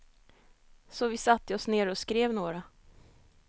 Så vi satte oss ner och skrev några.